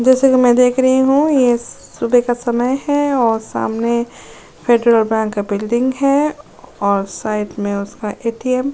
जैसा कि मैं देख रही हूं। यह सुबह का समय है और सामने फेड्रल बैंक का बिल्डिंग है और साइड में उसका ए_टी_म ।